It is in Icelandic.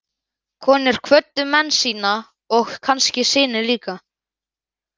Konur kvöddu menn sína og kannski syni líka.